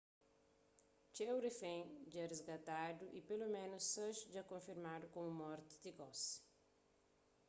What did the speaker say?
txeu rifén dja risgatadu y peloménus sais dja konfirmadu komu mortu ti gosi